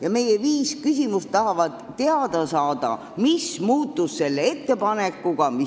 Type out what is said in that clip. Tahame oma viie küsimusega teada saada, mis sellest ettepanekust saanud on.